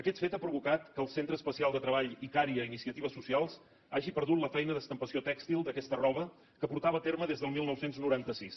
aquest fet ha provocat que el centre especial de treball icària iniciatives socials hagi perdut la feina d’estampació tèxtil d’aquesta roba que portava a terme des del dinou noranta sis